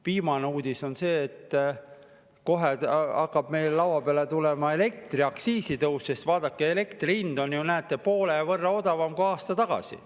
Viimane uudis on see, et kohe hakkab meile laua peale tulema elektriaktsiisi tõus, sest vaadake, elektri hind on, näete, poole võrra odavam kui aasta tagasi.